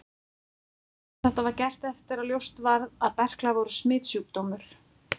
Þetta var gert eftir að ljóst varð að berklar voru smitsjúkdómur.